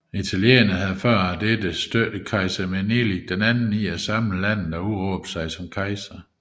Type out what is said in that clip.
Italienerne havde før dette støttet kejser Menelik II i at samle landet og udråbe sig til kejser